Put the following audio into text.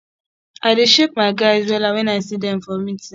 i dey shake my guys wella wen i see dem for meeting